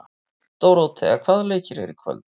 Dóróthea, hvaða leikir eru í kvöld?